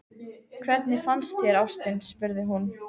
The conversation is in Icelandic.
Hvernig fannst þér, ástin? spurði hún.